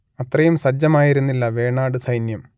അത്രയും സജ്ജമായിരുന്നില്ല വേണാട് സൈന്യം